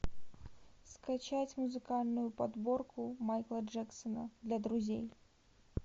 скачать музыкальную подборку майкла джексона для друзей